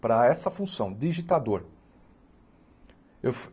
para essa função, digitador.